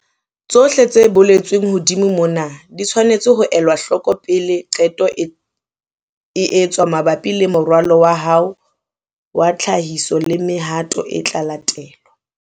Tsohle tse boletsweng hodimo mona di tshwanetse ho elwa hloko pele qeto e etswa mabapi le moralo wa hao wa tlhahiso le mehato e tla latelwa.